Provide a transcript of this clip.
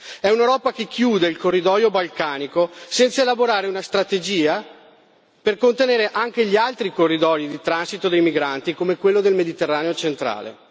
È un'Europa che chiude il corridoio balcanico, senza elaborare una strategia per contenere anche gli altri corridoi di transito dei migranti, come quello del Mediterraneo centrale.